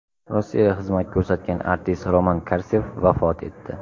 Rossiyada xizmat ko‘rsatgan artist Roman Karsev vafot etdi.